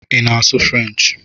Ị na-asụ French?